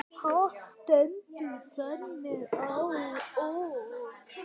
Það stendur þannig á.